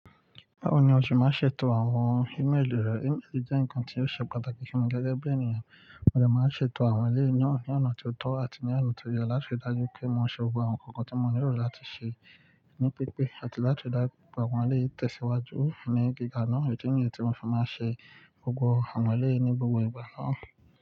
Báwo ni o ṣe máa ń ṣètò àwọn email rẹ? Email jẹ́ ǹkan tí ó ṣe pàtàkì fún mi gẹ́gẹ́ bí ènìyàn, mo dè máa ń ṣètò àwọn ilé e ná ní ọ̀nà tó tọ́ àti ní ọ̀nà tó yẹ láti dájú pé mò ń ṣe gbogbo àwọn ǹkan tí mo nílò láti ṣe ní pípé àti láti dá gbogbo àwọn ilé tẹ̀síwájú ní gíga náà. Idi niyi ti mò mo fi máa ń ṣe gbogbo àwọn ilé ní gbogbo ìgbà náà.